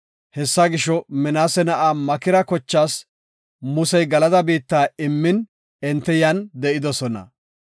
Hessa gisho, Minaase na7aa Makira kochaas Musey Galada biitta immin enti yan de7idosona.